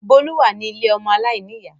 Bólú wà ní ilé ọmọ aláìníyà